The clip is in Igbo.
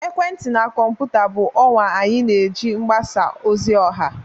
ekwentị na kọmputa bụ ọwa anyị na-eji mgbasa ozi ọha